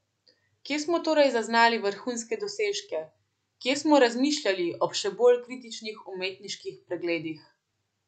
Kje smo torej zaznali vrhunske dosežke, kje smo razmišljali ob še bolj kritičnih umetniških pregledih?